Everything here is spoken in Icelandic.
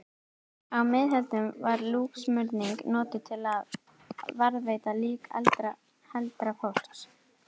á miðöldum var líksmurning notuð til að varðveita lík heldra fólks